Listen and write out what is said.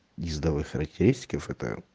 ездовые характеристики это